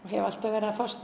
hef alltaf verið að fást